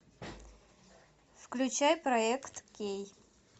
включай проект кей